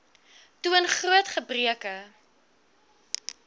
toon groot gebreke